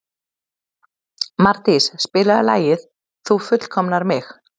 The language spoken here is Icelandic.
Mardís, spilaðu lagið „Þú fullkomnar mig“.